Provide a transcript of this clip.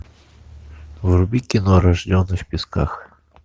вруби кино рожденный в песках